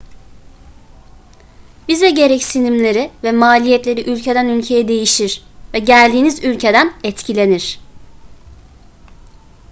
vize gereksinimleri ve maliyetleri ülkeden ülkeye değişir ve geldiğiniz ülkeden etkilenir